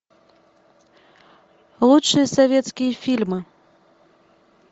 лучшие советские фильмы